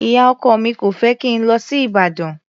Ìyá-ọkọ mi ò fẹ́ kí n lọ sí Ìbàdàn.